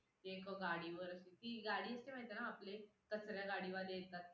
कोणत्याही देशाचे आर्थिक नियोजन जर योग्य प्रकारे असेल